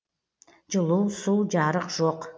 жылу су жарық жоқ